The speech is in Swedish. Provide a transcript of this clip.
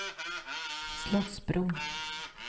Slottsbron